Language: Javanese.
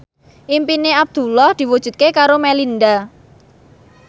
impine Abdullah diwujudke karo Melinda